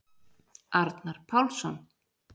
Arnar Pálsson.